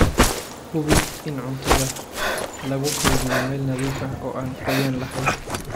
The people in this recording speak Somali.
Hubi in cuntada lagu kaydiyo meel nadiif ah oo aan qoyaan lahayn.